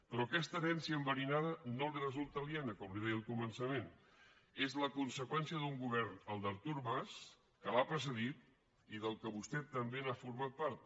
però aquesta herència enverinada no li resulta aliena com li deia al començament és la conseqüència d’un govern el d’artur mas que l’ha precedit i del qual vostè també ha format part